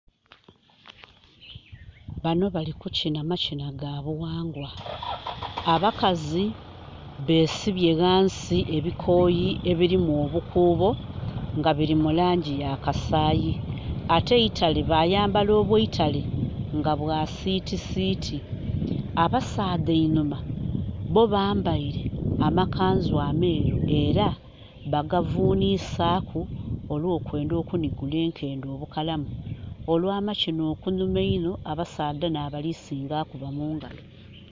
Bano bali kukyina makyina ga buwangwa, abakazi besibye wansi ebikoyi ebirimu obukuubo nga biri mulangi ya kasayi ate eitale bayambala obweitale nga bwa sitisiti. Abasaadha einhuma bo bambaire amakanzu ameru era bagavunisaku olwokwenda okunigula enkende obukalamu. Olwa makiina okunhuuma einho abasaadha nabali singa okukuba mungalo